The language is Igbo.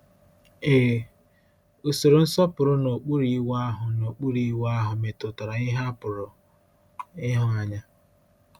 Ee, usoro nsọpụrụ n’okpuru Iwu ahụ n’okpuru Iwu ahụ metụtara ihe a pụrụ ịhụ anya.